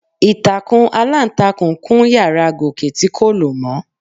Ìtàkùn aláǹtakùn kún yàrá Gòkè tí kò lò mọ́.